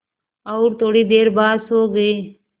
और थोड़ी देर बाद सो गए